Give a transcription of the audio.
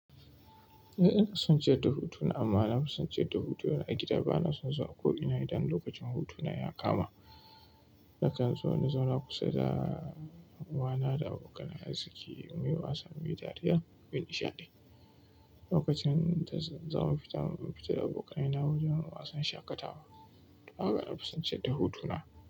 Eh ina son ciyar da hutuna amma nafi son ciyar da hutuna a gida. Bana son zuwa ko ina idan lokacin hutuna ya kama. Nakan zo na zauna kusa da uwana da abokan arziki muyi wasa, muyi dariya, muyi nishaɗi. Lokacin da za mu fita, mun fita da abokaina wajen wasan shaƙatawa. Haka na fi son ciyar da hutuna.